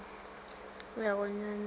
ya go nyanya e ka